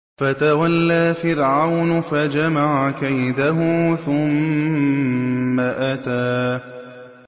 فَتَوَلَّىٰ فِرْعَوْنُ فَجَمَعَ كَيْدَهُ ثُمَّ أَتَىٰ